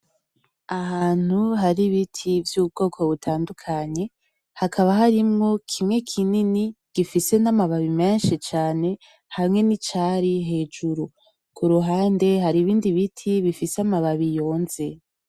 Ahantu hari ibiti vy'ubwoko butandukanye , hakaba harimwo kimwe kinini gifise n'amababi menshi cane hamwe n'icari hejuru, ku ruhande hari ibindi biti bifise amababi yonze.